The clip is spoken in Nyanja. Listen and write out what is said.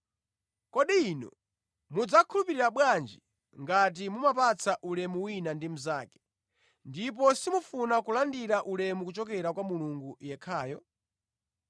Kodi inu mudzakhulupirira bwanji ngati mumapatsana ulemu wina ndi mnzake, ndipo simufuna kulandira ulemu kuchokera kwa Mulungu yekhayo?